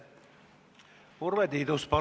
Urve Tiidus, palun!